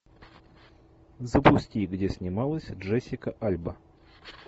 запусти где снималась джессика альба